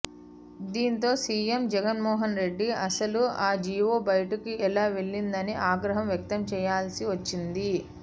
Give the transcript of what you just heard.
దీంతో సీఎం జగన్మోహన్ రెడ్డి అసలు ఆ జీవో బయటకు ఎలా వెళ్లిందని ఆగ్రహం వ్యక్తం చేయాల్సి వచ్చింది